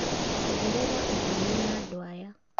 ongerera ũndũ ũyũ na andũ aya